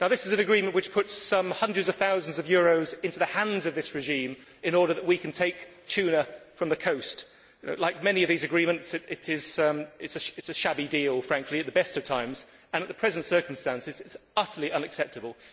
This is an agreement which puts some hundreds of thousands of euros into the hands of this regime in order that we can take tuna from the coast. Like many of these agreements, it is a shabby deal at the best of times and, in the present circumstances, it is utterly unacceptable.